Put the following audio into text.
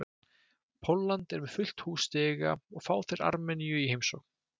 Pólland er með fullt hús stiga og fá þeir Armeníu í heimsókn.